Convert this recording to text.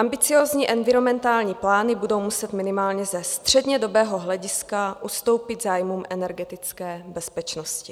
Ambiciózní environmentální plány budou muset minimálně ze střednědobého hlediska ustoupit zájmům energetické bezpečnosti.